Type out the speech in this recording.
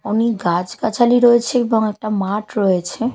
অনেক গাছ গাছালি রয়েছে এবং একটা মাঠ রয়েছে।